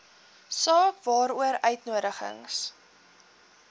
saak waaroor uitnodigings